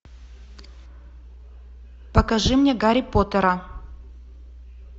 покажи мне гарри поттера